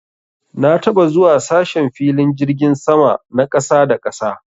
Na taɓa zuwa sashen filin jirgin sama na ƙasa da ƙasa.